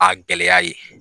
A gɛlɛya ye.